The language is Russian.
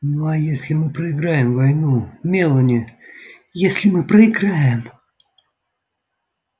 ну а если мы проиграем войну мелани если мы проиграем